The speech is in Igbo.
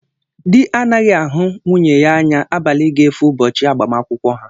Dị anaghị ahụ nwunye ya anya abalị ga-efo ụbọchị agbamakwụkwọ ha